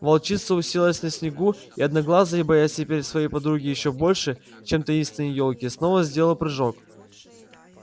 волчица уселась на снегу и одноглазый боясь теперь своей подруги ещё больше чем таинственной ёлки снова сделал прыжок